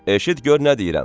Eşit gör nə deyirəm.